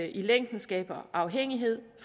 i længden skaber afhængighed